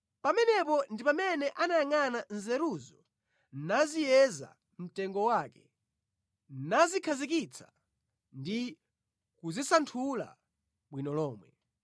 pamenepo ndi pamene anayangʼana nzeruzo naziyeza mtengo wake; nazikhazikitsa ndi kuzisanthula bwino lomwe.